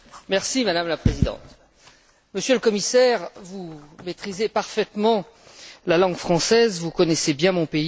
Madame la Présidente, Monsieur le Commissaire, vous maîtrisez parfaitement la langue française, vous connaissez bien mon pays.